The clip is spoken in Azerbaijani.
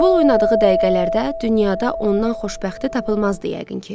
Futbol oynadığı dəqiqələrdə dünyada ondan xoşbəxti tapılmazdı yəqin ki.